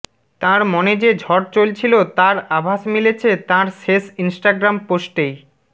তাঁর মনে যে ঝড় চলছিল তার আভাস মিলেছে তাঁর শেষ ইনস্টাগ্রাম পোস্টেই